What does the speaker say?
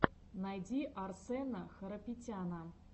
найди арсэна харапетяна